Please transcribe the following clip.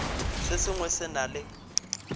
se sengwe se na le